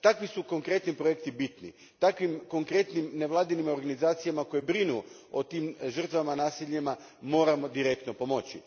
Takvi su konkretni projekti bitni, takvim konkretnim nevladinim organizacijama koje brinu o tim žrtvama nasilja moramo direktno pomoći.